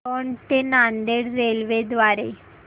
दौंड ते नांदेड रेल्वे द्वारे